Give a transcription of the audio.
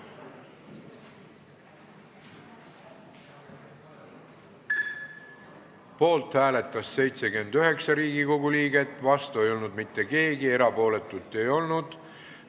Hääletustulemused Poolt hääletas 79 Riigikogu liiget, vastu ei olnud mitte keegi, erapooletuid ei olnud.